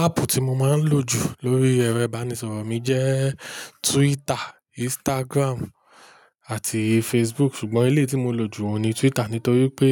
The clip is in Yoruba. Áàpù tí mo máa ń lò jù lórí ẹrẹ́ ìbánisọ̀rọ̀ mi jẹ́ Twitter, Instagram àti Facebook. Ṣùgbọ́n ilé tí mo lò jù wọn ni Twitter, nítorí pé